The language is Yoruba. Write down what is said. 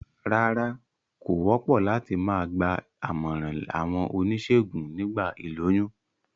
Rárá, kò wópò láti ma gba àmòràn àwon onísègùn nígba ìlóyún